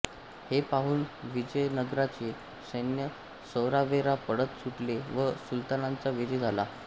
हे पाहून विजयनगरचे सैन्य सैरावैरा पळत सुटले व सुलतानांचा विजय झाला